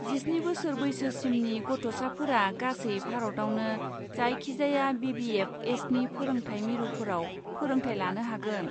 जिस्नि बोसोर बैसोसिमनि गथ'साफोरा गासै भारतआवनो जायखिजाया बि बि एफ एसनि फोरोंथाय मिरुफोराव फोरोंथाय लानो हागोन।